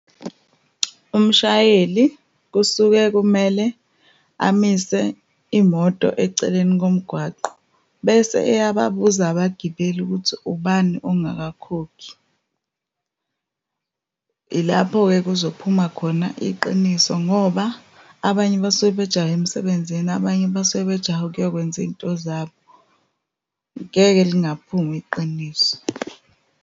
Umshayeli, kusuke kumele amise imoto eceleni komgwaqo, bese eyababuza abagibeli ukuthi, ubani ongakakhokhi. Yilapho-ke kuzophuma khona iqiniso, ngoba abanye basuke bejahe emsebenzini, abanye basuke bejahe ukuyokwenza iy'nto zabo. Ngeke lingaphumi iqiniso.